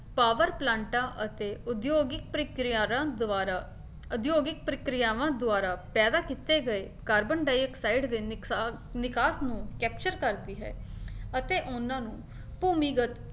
power ਪਲਾਂਟਾਂ ਅਤੇ ਉਦਯੋਗਿਕ ਪ੍ਰੀਕਿਰਿਆਰਾਂ ਦੁਆਰਾ ਉਦਯੋਗਿਕ ਪ੍ਰੀਕ੍ਰਿਆਵਾਂ ਦੁਆਰਾ ਪੈਦਾ ਕੀਤੇ ਗਏ ਕਾਰਬਨਡਾਇਕਸਾਈਡ ਦੇ ਨਿਕਸਾ ਨਿਕਾਸ ਨੂੰ capture ਕਰਦੀ ਹੈ ਅਤੇ ਉਹਨਾਂ ਨੂੰ ਭੂਮੀਗਤ